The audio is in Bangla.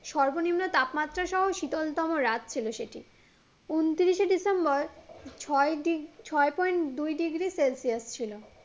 সর্ব নিম্ন তাপমাত্রা সহ শীতলতম রাত ছিলো সেটি ঊনত্রিশসে ডিসেম্বর ছয় ডিগ ছয় পয়েন্ট দুই ডিগ্রি সেলসিয়াস ছিলো